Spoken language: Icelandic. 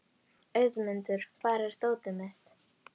Auðmundur, hvar er dótið mitt?